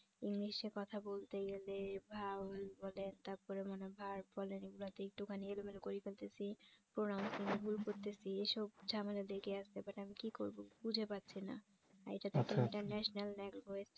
english এ কথা বলতে গেলে vowel বলেন তারপর মানে verb বলেন এগুলাতে একটুখানি এলোমেলো করে ফেলতেছি pronoun ভুল করতেছি এসব ঝামেলা লেগে আছে but আমি কি করব বুঝে পাচ্ছিনা আর এটাতো একটা international language